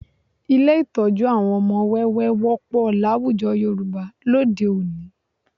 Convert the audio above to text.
Ilé ìtọ́jú àwọn ọmọ wẹ́wẹ́ wọ́pọ̀ láwùjọ Yorùbá lóde òní